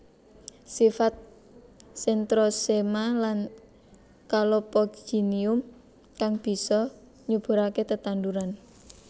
Sifat Centrosema lan Calopogonium kang bisa nyuburaké tetanduran